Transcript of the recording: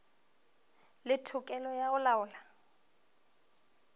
le tokelo ya go laola